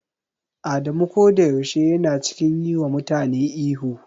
Adamu koda yaushe yana cikin yi wa mutane ihu.